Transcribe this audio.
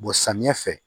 samiyɛ fɛ